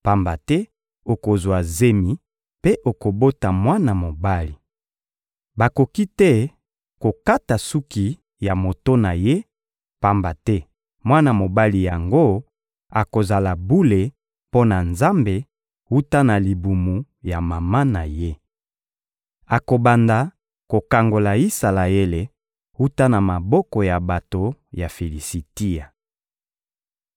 pamba te okozwa zemi mpe okobota mwana mobali. Bakoki te kokata suki ya moto na ye, pamba te mwana mobali yango akozala bule mpo na Nzambe wuta na libumu ya mama na ye. Akobanda kokangola Isalaele wuta na maboko ya bato ya Filisitia.»